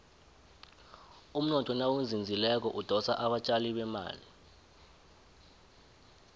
umnotho nawuzinzileko udosa abatjali bemali